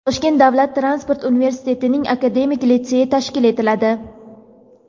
Toshkent davlat transport universitetining akademik litseyi tashkil etiladi.